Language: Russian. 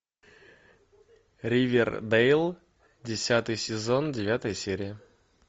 ривердейл десятый сезон девятая серия